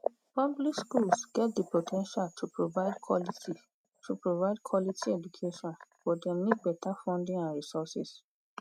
public schools get di po ten tial to provide quality to provide quality education but dem need beta funding and resources.